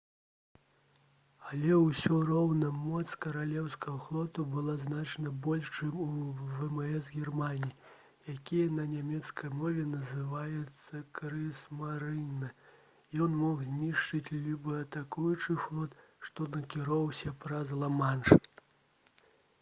але ўсё роўна моц каралеўскага флоту была значна больш чым у вмс германіі які на нямецкай мове называецца «крыгсмарынэ»: ён мог знішчыць любы атакуючы флот што накіроўваўся праз ла-манш